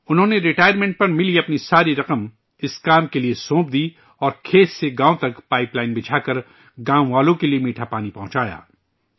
انہوں نے ریٹائرمنٹ پر ملی اپنی پوری رقم اس کام کے لئے پیش کردی اور کھیت سے گاوں تک پائپ لائن بچھا کر گاوں والوں کے لئے میٹھاپانی پہنچایا